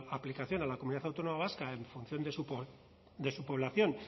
aplicación de la comunidad autónoma vasca en función de su población